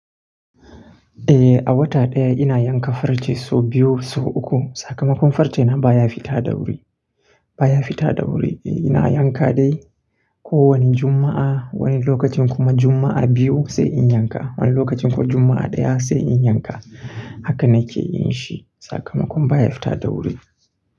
Eh, a wata ɗaya ina yanka farce sau biyu, sau uku. Sakamakon farce na baya fita da wuri, baya fita da wuri. Ina yanka dai kowane Juma'a, wani lokacin kuma Juma'a biyu sai in yanka. Wani lokacin kuwa Juma'a ɗaya sai in yanka. Haka na ke yin shi. Sakamakon baya fita da wuri.